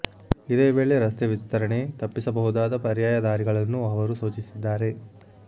ಇದೇ ವೇಳೆ ರಸ್ತೆ ವಿಸ್ತರಣೆ ತಪ್ಪಿಸಬಹುದಾದ ಪರ್ಯಾಯ ದಾರಿಗಳನ್ನೂ ಅವರು ಸೂಚಿಸಿದ್ದಾರೆ